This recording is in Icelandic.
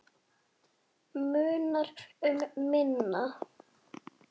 Munar um minna.